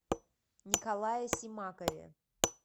николае симакове